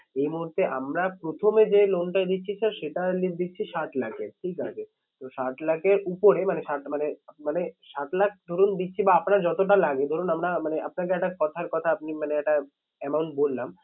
এই মুহূর্তে আমরা প্রথমে যে loan দিচ্ছি sir সেটা দিচ্ছি ষাট লাখের ঠিক আছে। তো ষাট লাখে উপরে মানে মানে ষাট লাখ ধরুন দিচ্ছি বা আপনার যতটা লাগে ধরুন আমরা মানে আপনাকে একটা কথার কথা আপনি মানে একটা amount বললাম